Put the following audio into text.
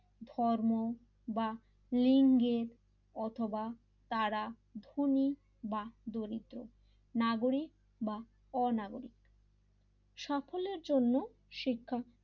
ধর্ম বা লিঙ্গের অথবা তারা ধনী বা দরিদ্র নাগরিক বা অনগরিক সকলের জন্য শিক্ষা,